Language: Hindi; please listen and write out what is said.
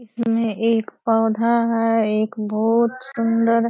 इसमे एक पौधा है एक बहुत सुंदर।